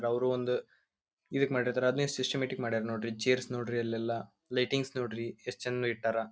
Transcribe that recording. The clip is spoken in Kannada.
ಅವ್ರು ಒಂದು ಅದನ್ನ ಎಸ್ಟ್ ಸಿಸ್ಟಮ್ಯಾಟಿಕ್ ಆಗಿ ಮಾಡ್ಯಾರ ನೋಡ್ರಿ ಚೈರ್ಸ್ ನೋಡ್ರಿ ಲೈಟಿಂಗ್ ನೋಡ್ರಿ ಎಸ್ಟ್ ಚಂದ ಇಟ್ಟರಾ.